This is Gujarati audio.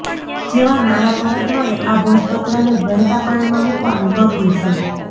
જેવા નાણા પરત મળે આ ભોજપત્રને વહેતા પાણીમાં મુકવાનું ન ભુલશો